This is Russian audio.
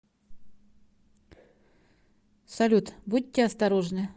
салют будьте осторожны